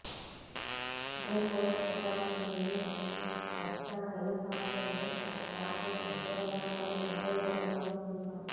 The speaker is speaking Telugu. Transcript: భోపోర్సు తుపాకులు నుండి వెస్టా హెలికాప్టర్లు రాఫెల్ యుద్ధ విమానాలు కొనుగోలు వరకు మనం చూశాము